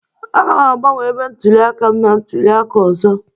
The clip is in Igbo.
Aga m agbanwe ebe ntụliaka m na ntụliaka ọzọ